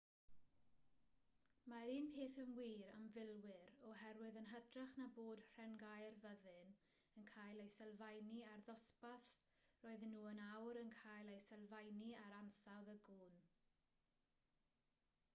mae'r un peth yn wir am filwyr oherwydd yn hytrach na bod rhengau'r fyddin yn cael eu sylfaenu ar ddosbarth roedden nhw yn awr yn cael eu sylfaenu ar ansawdd y gwn